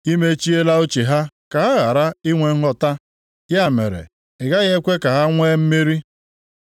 I mechiela uche ha ka ha ghara inwe nghọta; ya mere, i gaghị ekwe ka ha nwee mmeri.